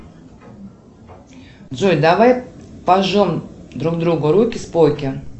джой давай пожмем друг другу руки споки